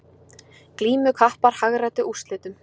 Glímukappar hagræddu úrslitum